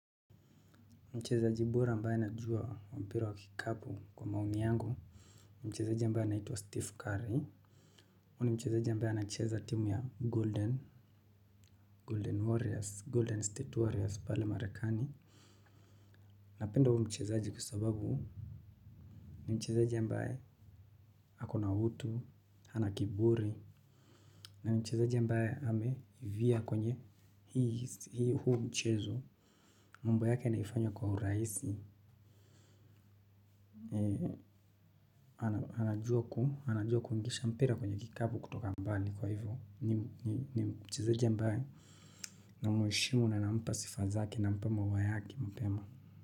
Mchezeaji bora ambae najua wa mpira wa kikapu kwa maoni yangu. Mchezaji ambae anaitwa Steve Curry huyu ni mchezeaji ambae anacheza timu ya Golden, Golden Warriors, Golden State Warriors pale marekani. Napenda huyu mchezeaji kwa sababu ni mchezaji ambae ako na hutu. Hana kiburi. Na ni mchezeaji ambae ameivia kwenye hii huu mchezo. Mambo yake anaifanya kwa uraisi. Anajua kuingisha mpira kwenye kikabu kutoka mbali kwa hivyo. Ni mchezaji ambae namweshimu na nampa sifa zake nampa maua yake mapema.